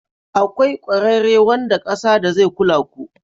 Akwai ƙwararre wanda ƙasa da zai kula ku.